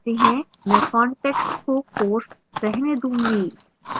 मैं context को course रहने दूँगी